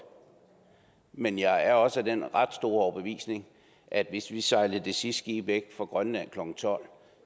men jeg er også af den ret overbevisning at hvis vi sejlede det sidste skib væk fra grønland klokken tolv